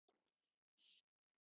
En man bréfin.